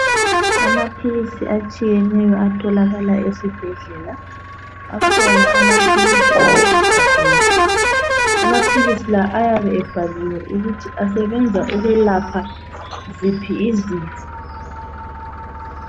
Amaphilisi atshiyeneyo atholakala esibhedlela, akhona amaphilisi amanengi. Amaphilisi lawa ayabe ebhaliwe ukuthi asebenza ukuyelapha ziphi izifo.